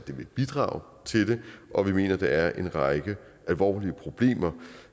bidrager til det og vi mener at der er en række alvorlige problemer